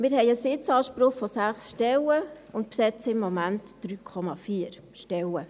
Wir haben einen Sitzanspruch von 6 Stellen und besetzen im Moment 3,4 Stellen.